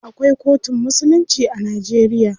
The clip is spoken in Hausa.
Akwai kotun musulunci a Najeriya.